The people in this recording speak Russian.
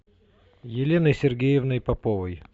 еленой сергеевной поповой